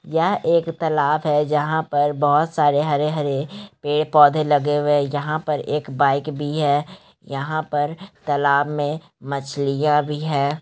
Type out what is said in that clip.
यह एक तालाब है जहां पर बहुत सारे हरे-हरे पड़े-पौधे लगे हुए है यहाँ पर एक बाइक भी है यहाँ पर तालाब में मछलियां भी है।